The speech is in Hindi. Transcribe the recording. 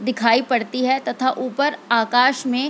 दिखाई पड़ती है तथा ऊपर आकाश मे --